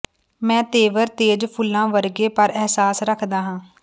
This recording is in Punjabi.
ਮੈਂ ਤੇਵਰ ਤੇਜ਼ ਫੁੱਲਾਂ ਵਰਗੇ ਪਰ ਅਹਿਸਾਸ ਰੱਖਦਾ ਹਾਂ